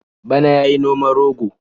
Bana ya yi noman rogo.